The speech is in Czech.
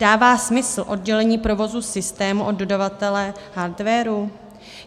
Dává smysl oddělení provozu systému od dodavatele hardwaru?